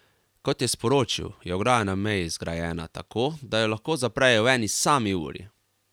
Kot je sporočil, je ograja na meji zgrajena, tako da jo lahko zaprejo v eni sami uri.